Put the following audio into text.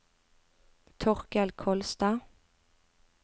Torkel Kolstad